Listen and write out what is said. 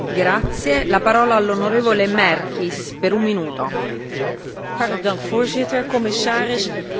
Voorzitter, commissaris, twaalf jaar geleden was er een grote vuurwerkramp in Enschede in Nederland